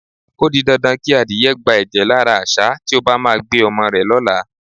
O di dandan kí adìye̩ gba è̩jè̩ lára às̩á tí ó bá máa gbé o̩mo̩ rè̩ ló̩la.